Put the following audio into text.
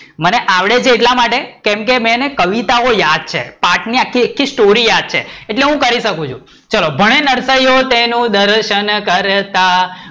મને આવડે છે એટલા માટે કેમકે મેં એને કવિતાઓ યાદ છે પાઠ ની આખી આખી સ્ટોરી યાદ છે એટલે હું કરી શકું છું ચલો ભણે નરસિયો તેનો દર્શન કરતા,